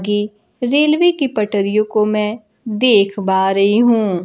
गी रेलवे की पटरीयो को मैं देख बा रही हूं।